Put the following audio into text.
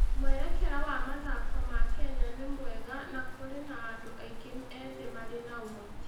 Mwerekera wa mathako ma Kenya nĩ mwega na kũrĩ na andũ aingĩ ethĩ marĩ na ũhoti.